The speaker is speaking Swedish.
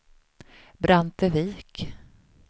Brantevik